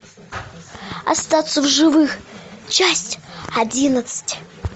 остаться в живых часть одиннадцать